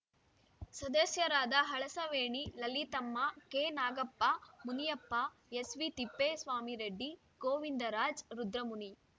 ಸದಸ್ಯರಾದ ಹಳಸವೇಣಿ ಲಲಿತಮ್ಮ ಕೆನಾಗಪ್ಪ ಮುನಿಯಪ್ಪ ಎಸ್‌ವಿತಿಪ್ಪೇಸ್ವಾಮಿರೆಡ್ಡಿ ಗೋವಿಂದರಾಜ್‌ ರುದ್ರಮುನಿ